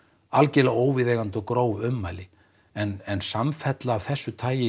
algjörlega óviðeigandi og gróf ummæli en samfella af þessu tagi